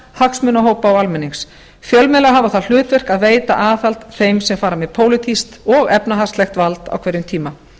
hagsmunahópa og almennings fjölmiðlar hafa það hlutverk að veita aðhald þeim sem fara með pólitískt og efnahagslegt vald á hverjum tíma